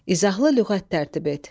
İzahlı lüğət tərtib et.